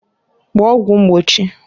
Gbaa ọgwụ mgbochiǃ